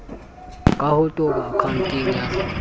ka ho toba akhaonteng ya